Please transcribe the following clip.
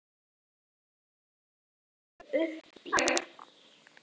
Óli liggur í móki uppí rúmi með blautan þvottapoka á enninu.